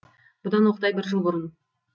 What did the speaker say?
бұдан оқтай бір жыл бұрын